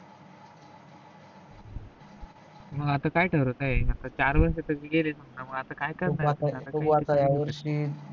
तर आता करत आहे चार वर्ष त गेलेच समजा मग असता काय